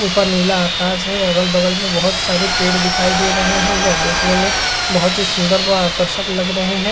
ऊपर नीला आकाश है। अगल बगल में बहोत सारे पेड़ दिखाई दे रहे हैं। यह देखने में बहोत ही सुंदर व आकर्षक लग रहे हैं।